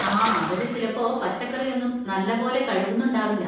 ആ, അവര് ചിലപ്പോ പച്ചക്കറി ഒന്നും നല്ലപോലെ കഴുകുന്നുണ്ടാവില്ല.